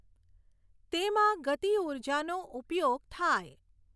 તેમાં ગતિઊર્જાનો ઉપયોગ થાય.